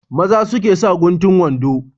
Maza suke sa guntun wando.